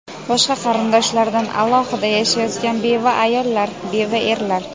boshqa qarindoshlardan alohida yashayotgan beva ayollar (beva erlar);.